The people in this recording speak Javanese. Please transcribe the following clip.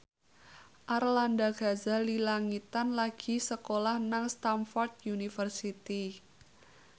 Arlanda Ghazali Langitan lagi sekolah nang Stamford University